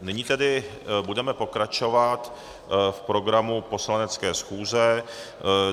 Nyní tedy budeme pokračovat v programu poslanecké schůze.